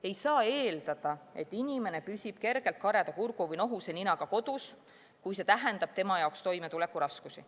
Ei saa eeldada, et inimene püsib kergelt kareda kurgu või nohuse ninaga kodus, kui see tähendab tema jaoks toimetulekuraskusi.